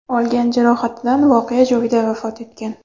olgan jarohatidan voqea joyida vafot etgan.